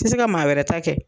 Ti si ka maa wɛrɛ ta kɛ.